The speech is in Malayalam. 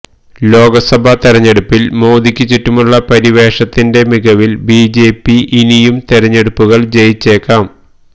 ലോക്സഭാ തെരഞ്ഞെടുപ്പില് മോദിക്ക് ചുറ്റുമുള്ള പരിവേഷത്തിന്റെ മികവില് ബിജെപി ഇനിയും തെരഞ്ഞെടുപ്പുകള് ജയിച്ചേക്കാം